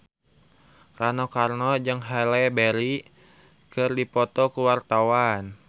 Rano Karno jeung Halle Berry keur dipoto ku wartawan